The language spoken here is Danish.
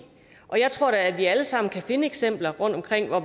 og jeg tror da at vi alle sammen kan finde eksempler rundtomkring hvor